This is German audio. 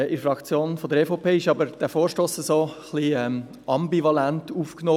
In der EVP-Fraktion wurde dieser Vorstoss jedoch etwas ambivalent aufgenommen.